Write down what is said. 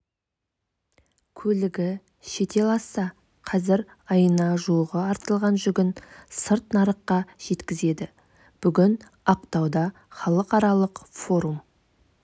көлігі шетел асса қазір айына жуығы артылған жүгін сырт нарыққа жеткізеді бүгін ақтауда халықаралық форум